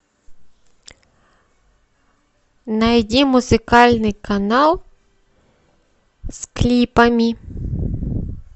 найди музыкальный канал с клипами